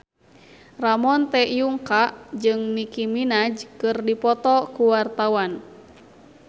Ramon T. Yungka jeung Nicky Minaj keur dipoto ku wartawan